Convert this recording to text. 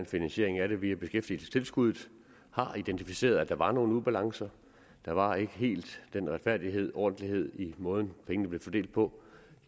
finansieret via beskæftigelsestilskuddet har identificeret at der var nogle ubalancer der var ikke helt den retfærdighed og ordentlighed i måden pengene blev fordelt på